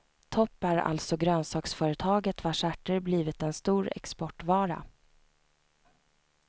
Topp är alltså grönsaksföretaget vars ärter blivit en stor exportvara.